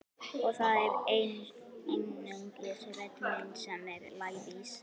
En það er einungis rödd mín sem er lævís.